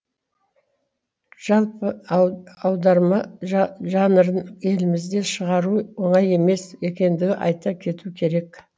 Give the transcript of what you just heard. жалпы ау аударма жа жанрын елімізде шығару оңай емес екендігін айта кету керек